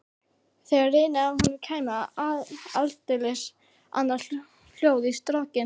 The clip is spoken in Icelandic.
Þegar rynni af honum kæmi aldeilis annað hljóð í strokkinn.